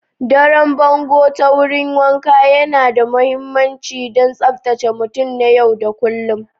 Daron bongo ta wurin wanka yana da mahimmanci don tsabtace mutum na yau da kullun.